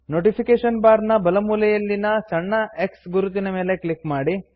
notification bar ನ ಬಲಮೂಲೆಯಲ್ಲಿನ ಸಣ್ಣ ಎಕ್ಸ್ ಗುರುತಿನ ಮೇಲೆ ಕ್ಲಿಕ್ ಮಾಡಿ